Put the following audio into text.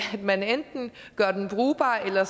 man enten gør den brugbar eller